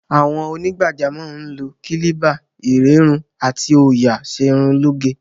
Àwọn onígbàjámọ̀ ń lo kílíbà, ìrẹ́run àti òòyà ṣe irun lóge.